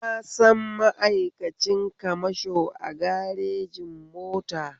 Na san ma'aikacin kamasho a garejin mota